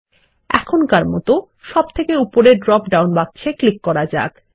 এখনকার মতো সবথকে উপরের ড্রপ ডাউন বাক্সে ক্লিক করা যাক